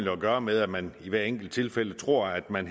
at gøre med at man i hvert enkelt tilfælde tror at man